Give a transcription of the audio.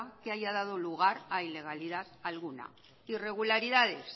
que haya dado lugar a ilegalidad alguna irregularidades